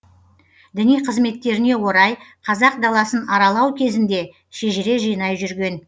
діни қызметтеріне орай қазақ даласын аралау кезінде шежіре жинай жүрген